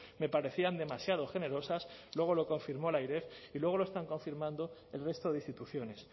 me parecían demasiado generosas luego lo confirmó la airef y luego lo están confirmando el resto de instituciones